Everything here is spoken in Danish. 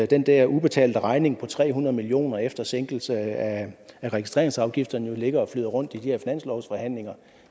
den der udbetalte regning på tre hundrede million kroner efter sænkelse af registreringsafgifterne jo ligger og flyder rundt i de her finanslovsforhandlinger